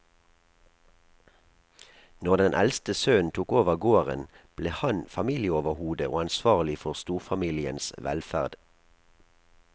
Når den eldste sønnen tok over gården, ble han familieoverhode og ansvarlig for storfamiliens velferd.